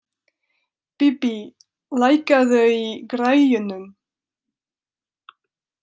Bíbí, lækkaðu í græjunum.